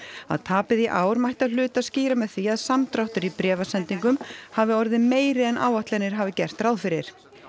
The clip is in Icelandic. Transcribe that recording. að tapið í ár mætti að hluta skýra með því að samdráttur í bréfasendingum hafi orðið meiri en áætlanir hafi gert ráð fyrir